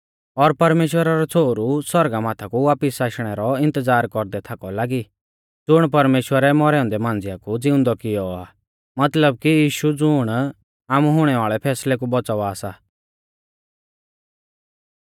और परमेश्‍वरा रौ छ़ोहरु सौरगा माथा कु वापिस आशणै रौ इन्तज़ार कौरदै थाकौ लागी ज़ुण परमेश्‍वरै मौरै औन्दै मांझ़िआ कु ज़िउंदौ कियौ आ मतलब कि यीशु ज़ुण आमु हुणै वाल़ै फैसलै कु बौच़ावा सा